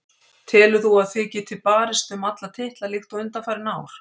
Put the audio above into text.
Telur þú að þið getið barist um alla titla líkt og undanfarin ár?